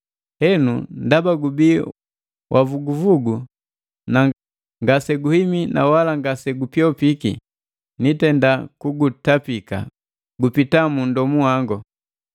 Henu, ndaba gubii wavuguvugu na ngase guhimi na wala ngase gupyopiki, nitenda kugutapika gupita mu nndomu wangu!